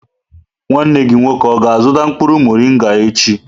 Nwanne gị nwoke ọ ga-azuta mkpuru morịnga echi?